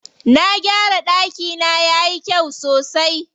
Na gyara ɗakina yayi kyau sosai.